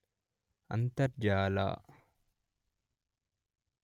ಅಂತರ್ಜಾಲ